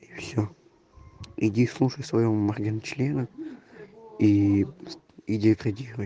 всё иди слушай своего моргенчлена и и деградируй